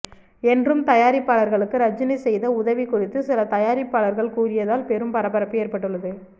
என்றும் தயாரிப்பாளர்களுக்கு ரஜினி செய்த உதவி குறித்து சில தயாரிப்பாளர்கள் கூறியதால் பெரும் பரபரப்பு ஏற்பட்டுள்ளது